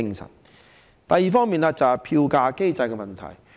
另一方面是票價機制的問題。